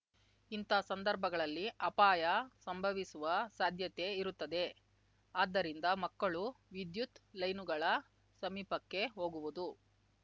ಇಂಥ ಸಂದರ್ಭಗಳಲ್ಲಿ ಅಪಾಯ ಸಂಭವಿಸುವ ಸಾಧ್ಯತೆ ಇರುತ್ತದೆ ಆದ್ದರಿಂದ ಮಕ್ಕಳು ವಿದ್ಯುತ್‌ ಲೈನುಗಳ ಸಮೀಪಕ್ಕೆ ಹೋಗುವುದು